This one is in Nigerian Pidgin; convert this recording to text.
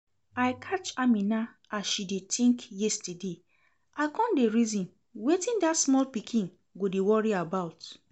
I catch Amina as she dey think yesterday, I come dey reason wetin dat small pikin go dey worry about